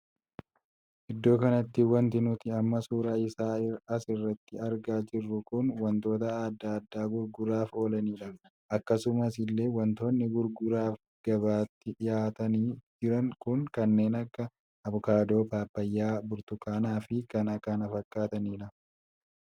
Iddoo kanatti wanti nuti amma suuraa isaa as irratti argaa jirru kun wantoota addaa addaa gurguraaf oolanidha. akkasuma illee wantoonni gurguraaf gabaatti dhihaatanii jiran kun kanneen akka abukaadoo, paappayyaa burtukaanii fi kan kana fakkaatanidha.